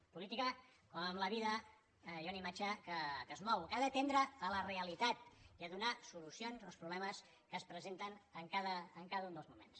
en política com a la vida hi ha una imatge que es mou que ha de tendre a la realitat i a donar solucions als problemes que es presenten en cada un dels moments